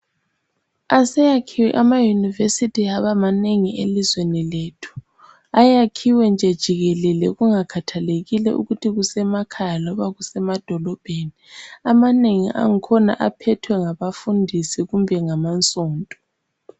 Aseyakhiwe amayunivesithi aba manengi elizweni lethu. Ayakhiwe nje jikelele kungakhathalekile ukuthi kusemakhaya loba edolobheni amanengi akhona aphethwe ngabafundisi loba ngama sonto